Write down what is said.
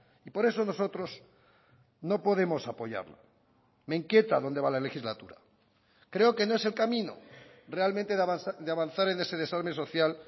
y por eso nosotros no podemos apoyarlo me inquieta dónde va la legislatura creo que no es el camino realmente de avanzar en ese desarme social